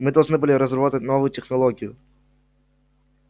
мы должны были разработать новую технологию